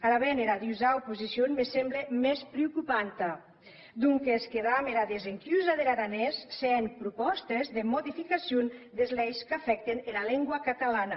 ara ben era dusau posicion me semble mès preocupanta donques damb era desencusa der aranés se hèn propòstes de modificacion des leis qu’afècten ara lengua catalana